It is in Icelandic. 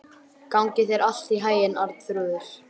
Gangi þér allt í haginn, Arnþrúður.